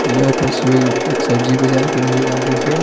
यह तस्वीर एक सब्जी बाजार की नजर आ रही है।